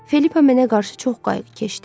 Filippa mənə qarşı çox qayğıkeşdir.